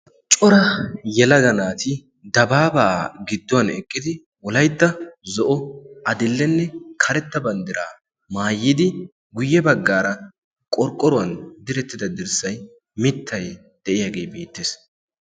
Cora yelada naati dabaabaa gidduwan eqqidi wolaytta gidduwan eqqidi zo'o adl'enne karetta banddiraa maayidi guyye baggaara qorqqoruwan direttida dirssay mittay de'iyaagee beettees.